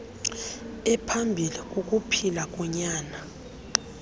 ephambilli kukuphila konyana